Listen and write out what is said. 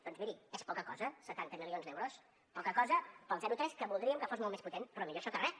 doncs miri és poca cosa setanta milions d’euros poca cosa per al zero tres que voldríem que fos molt més potent però millor això que res